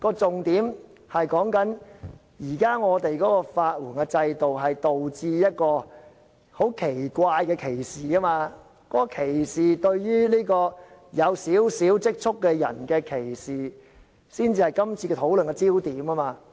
重點是，現在的法援制度導致一種很奇怪的歧視，這是對於有少許積蓄的人的歧視，這才是討論的焦點。